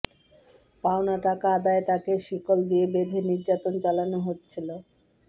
পাওনা টাকা আদায়ে তাকে শিকল দিয়ে বেধে নির্যাতন চালানো হচ্ছিল